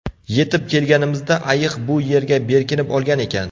Yetib kelganimizda ayiq bu yerga berkinib olgan ekan.